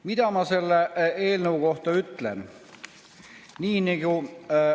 Mida ma selle eelnõu kohta ütlen?